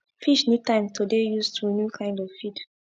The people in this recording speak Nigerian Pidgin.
fish need time to dey use to new kind of feed